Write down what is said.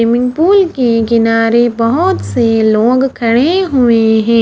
Swimming pool के किनारे बहोत से लोग खड़े हुए हैं।